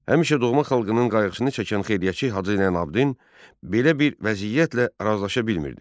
Həmişə doğma xalqının qayğısını çəkən xeyriyyətçi Hacı Zeynalabdin belə bir vəziyyətlə razılaşa bilmirdi.